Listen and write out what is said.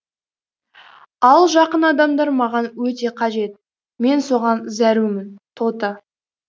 ал жақын адамдар маған өте қажет мен соған зәрумін тоты